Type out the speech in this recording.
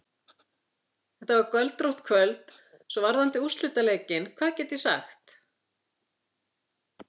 Þetta var göldrótt kvöld, Svo varðandi úrslitaleikinn, hvað get ég sagt?